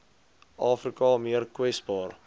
afrika meer kwesbaar